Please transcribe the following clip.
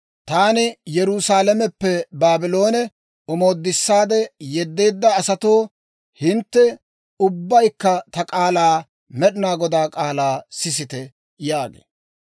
Taani Yerusaalameppe Baabloone omoodissaade yeddeedda asatoo, hintte ubbaykka ta k'aalaa, Med'inaa Godaa k'aalaa sisite› yaagee.